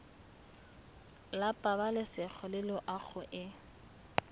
la pabalesego le loago e